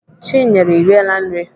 Chinyere, I riela nri?